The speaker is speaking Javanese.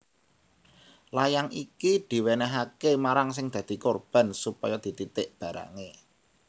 Layang iki diwènèhaké marang sing dadi korban supaya dititik barangé